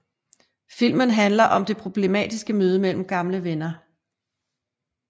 Filmen handler om det problematiske møde mellem gamle venner